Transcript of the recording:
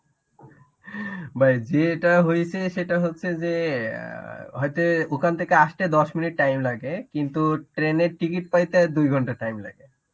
ভাই যেটা হইছে সেটা হচ্ছে যে অ্যাঁ হয়তো ওখান থেকে আসতে দশ minute time লাগে কিন্তু train এর ticket পাইতে দুই ঘন্টা time লাগে.